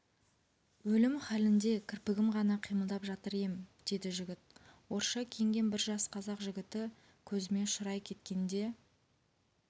өлім халінде кірпігім ғана қимылдап жатыр ем деді жігіт орысша киінген бір жас қазақ жігіті көзіме ұшырай кеткенде